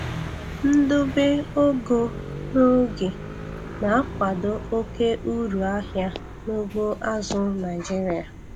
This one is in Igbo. Ndobe ogo n'oge na-akwado oke uru ahịa n'ugbo azụ̀ Naịjiria.